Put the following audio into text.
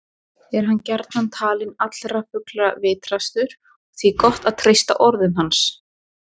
Er hann gjarnan talinn allra fugla vitrastur og því gott að treysta orðum hans.